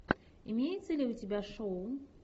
имеется ли у тебя шоу